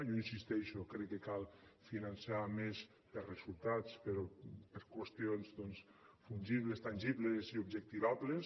jo hi insisteixo crec que cal finançar més per resultats per qüestions doncs fungibles tangibles i objectivables